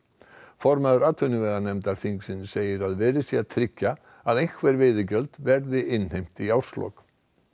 formaður atvinnuveganefndar segir að verið sé að tryggja að einhver veiðigjöld verði innheimt í árslok